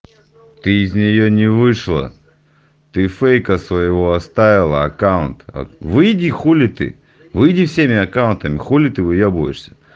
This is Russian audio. ты из нее не вышла ты фейка своего оставила аккаунт а выйди хули ты выйди всеми аккаунтами хули ты выебываешься